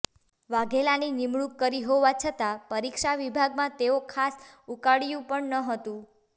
વાઘેલાની નિમણૂંક કરી હોવા છતા પરીક્ષા વિભાગમાં તેઓ ખાસ ઉકાળ્યુ પણ ન હતું